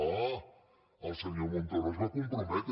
ah el senyor montoro s’hi va comprometre